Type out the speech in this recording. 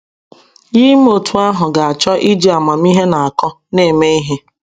Ya ime otú ahụ ga - achọ ya iji amamihe na akọ na - eme ihe.